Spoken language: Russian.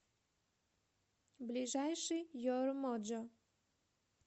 ближайший ер моджо